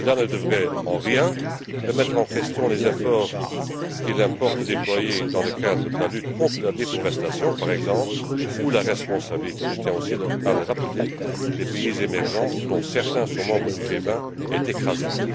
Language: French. Cela ne devrait en rien remettre en question les efforts qu'il importe de déployer dans le cadre de la lutte contre la déforestation, par exemple, où la responsabilité je tiens aussi à le rappeler des pays émergents, dont certains sont membres du G20, est écrasante.